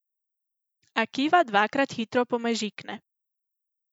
Akiva dvakrat hitro pomežikne.